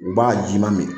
U b'a ji ma min